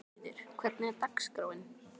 Lýður, hvernig er dagskráin?